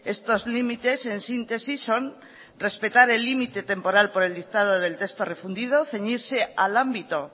estos límites en síntesis son respetar el límite temporal por el dictado del texto refundido ceñirse al ámbito